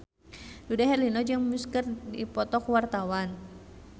Dude Herlino jeung Muse keur dipoto ku wartawan